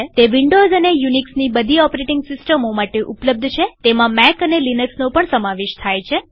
તે વિન્ડોવ્સ અને યુનિક્સની બધી ઓપરેટીંગ સિસ્ટમો માટે ઉપલબ્ધ છેતેમાં મેક અને લિનક્સનો પણ સમાવેશ થાય છે